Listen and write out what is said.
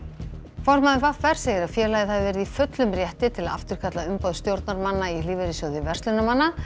formaður v r segir að félagið hafi verið í fullum rétti til að afturkalla umboð stjórnarmanna í Lífeyrissjóði verzlunarmanna hann